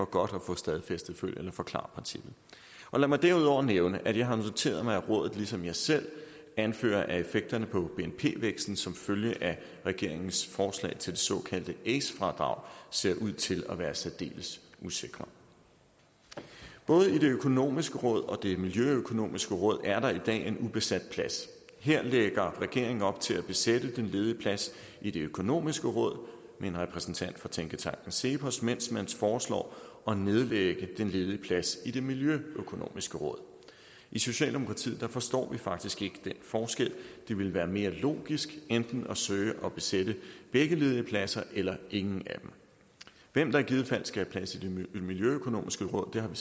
godt at få stadfæstet følg eller forklar princippet lad mig derudover nævne at jeg har noteret mig at rådet ligesom jeg selv anfører at effekterne på bnp væksten som følge af regeringens forslag til det såkaldte ace fradrag ser ud til at være særdeles usikre både i det økonomiske råd og det miljøøkonomiske råd er der i dag er en ubesat plads her lægger regeringen op til at besætte den ledige plads i det økonomiske råd med en repræsentant fra tænketanken cepos mens man foreslår at nedlægge den ledige plads i det miljøøkonomiske råd i socialdemokratiet forstår vi faktisk ikke den forskel det ville være mere logisk enten at søge at besætte begge ledige pladser eller ingen af dem hvem der i givet fald skal have plads i det miljøøkonomiske råd har vi